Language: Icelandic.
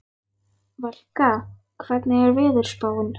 Valka, hvernig er veðurspáin?